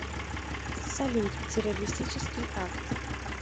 салют террористический акт